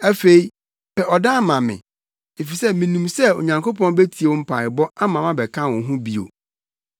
Afei pɛ ɔdan ma me, efisɛ minim sɛ Onyankopɔn betie mo mpaebɔ ama mabɛka mo ho bio.